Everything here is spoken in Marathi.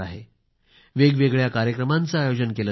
वेगवेगळ्या कार्यक्रमांचे आयोजन केले जाते आहे